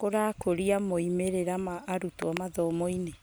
kũrakũria moimĩrĩra na arutwo mathomo-inĩ ?